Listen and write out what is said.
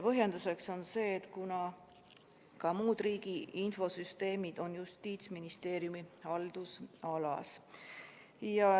Põhjenduseks on see, et ka muud riigi infosüsteemid on Justiitsministeeriumi haldusalas.